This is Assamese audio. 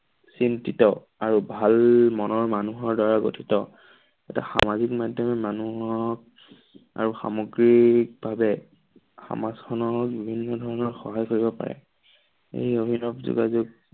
চিন্তিত আৰু ভাল মনৰ মানুহৰ দ্বাৰা গঠিত এটা সামাজিক মাধ্যমে মানুহক আৰু সামগ্ৰীক ভাৱে সমাজখনৰ বিভিন্ন ধৰণৰ সহায় কৰিব পাৰে। এই অভিনৱ যোগাযোগ